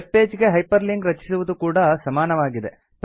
web page ಗೆ hyperlink ರಚಿಸುವುದು ಕೂಡಾ ಸಮಾನವಾಗಿದೆ